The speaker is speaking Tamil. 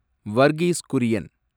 வர்கீஸ் குரியன்